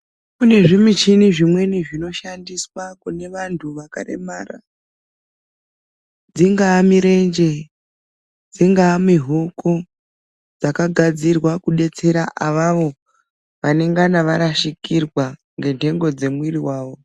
Kune zvimichina zvimweni zvinoshandiswa kuvantu vakaremera, dzingaa mirenje, dzingaa mihoku dzakagadzirwa kudetsera awawo vanengana varashikirwa nenhengo dzimwiri wawo.